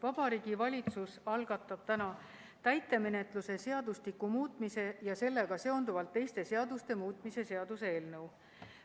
Vabariigi Valitsus algatab täna täitemenetluse seadustiku muutmise ja sellega seonduvalt teiste seaduste muutmise seaduse eelnõu.